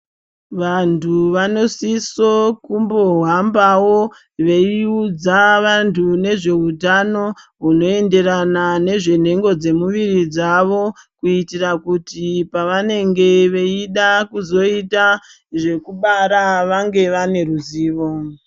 Vanthu vanosiso kumbohambawo, veiudza vanthu nezveutano, hunoenderana nezvenhengo dzemuviri dzavo. Kuitira kuti pavanenge veida kuzoita zvekubara, vange vane ruzivo.